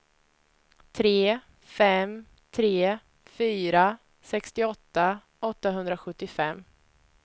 tre fem tre fyra sextioåtta åttahundrasjuttiofem